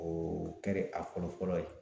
O kɛre a fɔlɔ fɔlɔ ye.